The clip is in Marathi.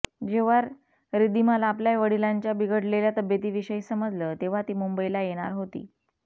जेव्हा रिद्धिमाला आपल्या वडिलांच्या बिघडलेल्या तब्येतीविषयी समजलं तेव्हा ती मुंबईला येणार होती